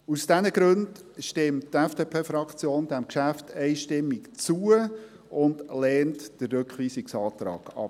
Aus diesen Gründen stimmt die FDP-Fraktion diesem Geschäft einstimmig zu und lehnt den Rückweisungsantrag ab.